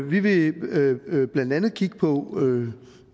vi vil blandt andet kigge på